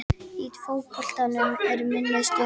Í fótboltanum er minnið stutt.